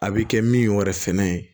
A bɛ kɛ min yɛrɛ fɛnɛ ye